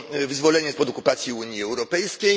wyzwolenie spod okupacji Unii Europejskiej.